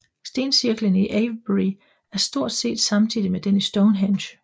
Stencirklen i Avebury er stort set samtidig med den i Stonehenge